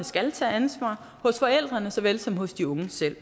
skal tage ansvar og hos forældrene såvel som hos de unge selv